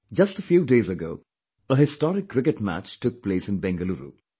Just a few days ago, a historic Cricket match took place in Bengaluru